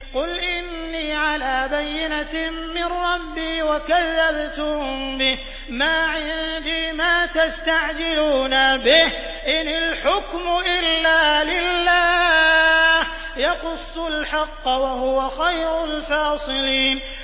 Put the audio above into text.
قُلْ إِنِّي عَلَىٰ بَيِّنَةٍ مِّن رَّبِّي وَكَذَّبْتُم بِهِ ۚ مَا عِندِي مَا تَسْتَعْجِلُونَ بِهِ ۚ إِنِ الْحُكْمُ إِلَّا لِلَّهِ ۖ يَقُصُّ الْحَقَّ ۖ وَهُوَ خَيْرُ الْفَاصِلِينَ